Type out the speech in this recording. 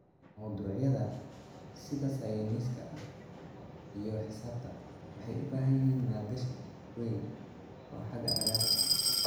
Mawduucyada sida sayniska iyo xisaabta waxay u baahan yihiin maalgashi weyn oo xagga agabka ah.